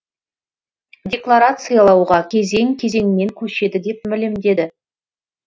декларациялауға кезең кезеңмен көшеді деп мәлімдеді